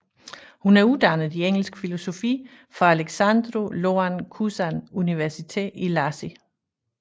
Hun er uddannet i engelsk filologi fra Alexandru Ioan Cuza University i Iași